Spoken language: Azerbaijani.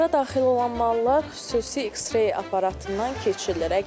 Anbara daxil olan mallar xüsusi X-ray aparatından keçilir.